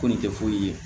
Ko nin tɛ foyi ye